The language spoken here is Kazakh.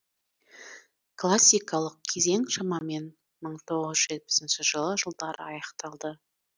классикалық кезең шамамен мың тоғыз жүз жетпсінші жылдары аяқталды